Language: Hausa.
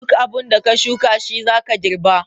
Duk abinda ka shuka shizaka girɓa.